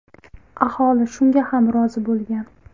Aholi shunga ham rozi bo‘lgan.